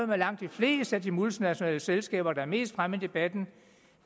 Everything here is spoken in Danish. med langt de fleste af de multinationale selskaber der er mest fremme i debatten